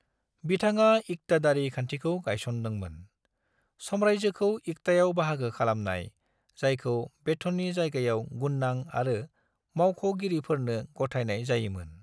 बिथाङा इक्तादारी खान्थिखौ गायसनदों मोन: सामरायजोखौ इक्तायाव बाहागो खालामनाय, जायखौ बेथननि जायगायाव गुननां आरो मावख'गिरिफोरनो गथायनाय जायो मोन।